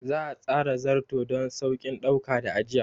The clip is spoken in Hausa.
Za a tsara Zarto don sauƙin ɗauka da ajiya.